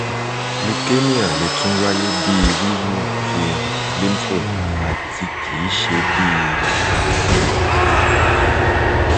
leukemia le tun waye bi wiwu ti lymphnode ati kii ṣe bi irora um